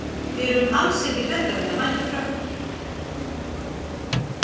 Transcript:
Við erum alls ekki hræddar við að mæta Frökkunum.